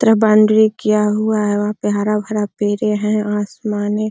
तरफ बाउंड्री किया हुआ है वहाँ पे हरा-भरा पेड़े है आसमाने --